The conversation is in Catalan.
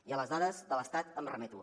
i a les dades de l’estat em remeto